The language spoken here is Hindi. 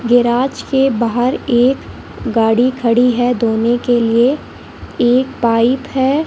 गैराज के बाहर एक गाड़ी खड़ी है धोने के लिए एक पाइप है।